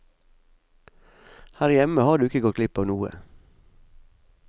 Her hjemme har du ikke gått glipp av noe.